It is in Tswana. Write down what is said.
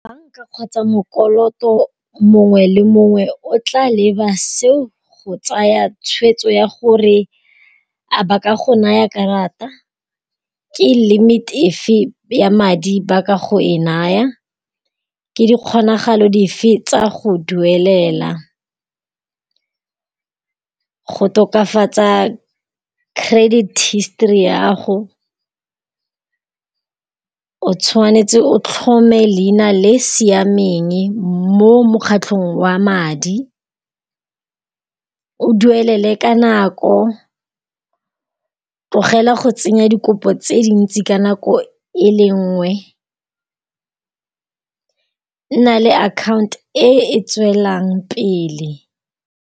Banka kgotsa mokoloto mongwe le mongwe o tla leba seo go tsaya tshweetso ya gore a ba ka go naya karata, ke limit-e efe ya madi ba ka go e naya, ke di kgonagalo dife tsa go duelela. Go tokafatsa credit history ya gago o tshwanetse o tlhome leina le siameng mo mokgatlhong wa madi, o duelele ka nako, tlogela go tsenya dikopo tse dintsi ka nako e le nngwe. Nna le account e e tswelang pele.